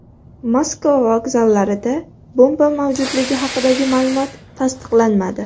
Moskva vokzallarida bomba mavjudligi haqidagi ma’lumot tasdiqlanmadi.